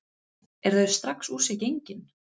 Eru þau strax úr sér gengin?